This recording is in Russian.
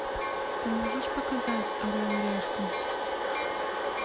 ты можешь показать орел и решка